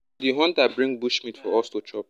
di hunter bring bushmeat for us to chop